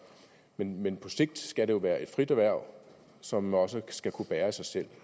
men men på sigt skal det jo være et frit erhverv som også skal kunne bære sig selv